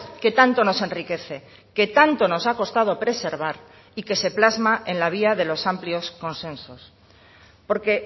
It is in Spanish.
que tanto nos enriquece que tanto nos ha costado preservar y que se plasma en la vía de los amplios consensos porque